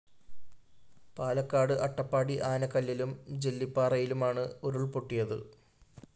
പാലക്കാട് അട്ടപ്പാടി ആനക്കല്ലിലും ജെല്ലിപ്പാറയിലുമാണ് ഉരുള്‍പൊട്ടിയത്